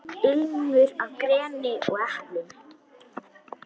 Ilmur af greni og eplum.